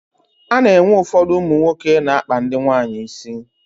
A na-enwe ụfọdụ ụmụ nwoke na-akpa ndị nwaanyị isi.